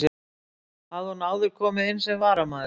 Hafði hún áður komið inn sem varamaður.